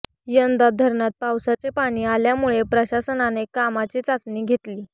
यंदा धरणात पावसाचे पाणी आल्यामुळे प्रशासनाने कामाची चाचणी घेतली